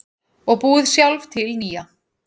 Og búið sjálf til nýja.